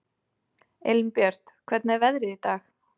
Elínbjört, hvernig er veðrið í dag?